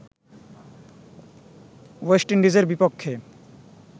West ইন্ডিজের বিপক্ষে